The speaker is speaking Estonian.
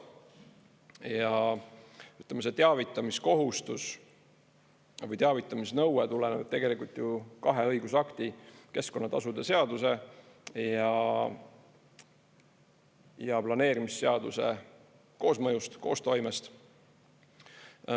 Ja ütleme, see teavitamiskohustus või teavitamisnõue tuleneb tegelikult ju kahe õigusakti, keskkonnatasude seaduse ja planeerimisseaduse koosmõjust, koostoimest.